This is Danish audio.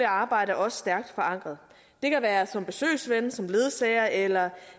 arbejde også stærkt forankret det kan være som besøgsven som ledsager eller